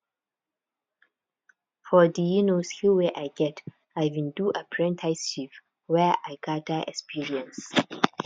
for di um skill wey i get i bin do apprenticeship where i gada experience